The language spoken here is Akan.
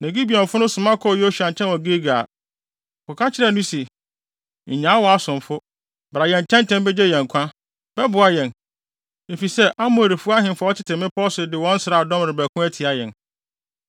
Na Gibeonfo no soma kɔɔ Yosua nkyɛn wɔ Gilgal. Wɔkɔka kyerɛɛ no se, “Nnyaa wʼasomfo. Bra yɛn nkyɛn ntɛm begye yɛn nkwa! Bɛboa yɛn, efisɛ Amorifo ahemfo a wɔte mmepɔw so de wɔn nsraadɔm rebɛko atia yɛn.”